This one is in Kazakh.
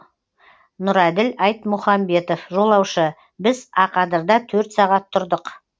нұрәділ айтмұхамбетов жолаушы біз ақадырда төрт сағат тұрдық